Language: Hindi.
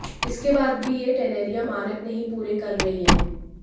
इसके बाद भी यह टेनरियां मानक नहीं पूरे कर रही हैं